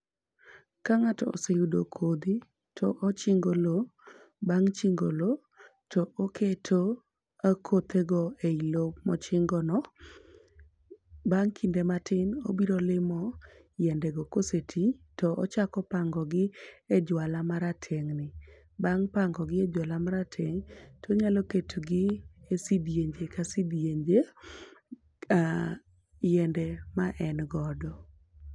Ka ng'ato oseyudo kodhi to ochingo loo. Bang' chingo loo to oketo kothe go eloo mochingo no. Bang' kinde matin obiro limo yiende go kosetii to ochako pango gi e jwala marateng' ni. Bang pango gi e jwala marateng', onyalo keto gi e sindienje ka sidienje yiende ma en godo.